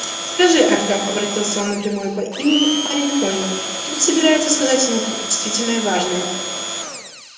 скажи артём обратился он напрямую по имени и парень понял тот собирается сказать ему что-то действительное важное